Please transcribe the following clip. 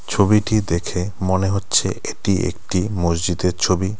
ছবিটি দেখে মনে হচ্ছে এটি একটি মসজিদের ছবি।